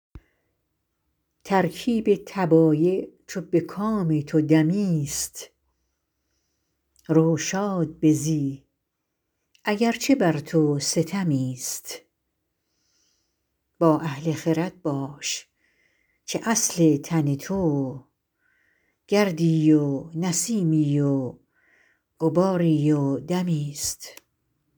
ترکیب طبایع چو به کام تو دمی ست رو شاد بزی اگر چه بر تو ستمی ست با اهل خرد باش که اصل تن تو گردی و نسیمی و غباری و دمی ست